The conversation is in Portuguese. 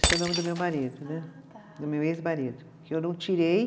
Esse é o nome do meu marido né. Ah tá. Do meu ex-marido, que eu não tirei.